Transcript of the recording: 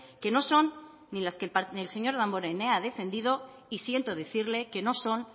que no son ni las que el señor damborenea ha defendido y siento decirle que no son